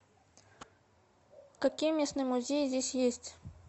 какие местные музеи здесь есть